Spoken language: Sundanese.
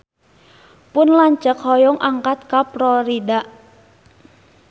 Pun lanceuk hoyong angkat ka Florida